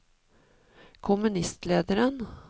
kommunistlederen